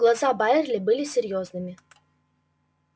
глаза байерли были серьёзными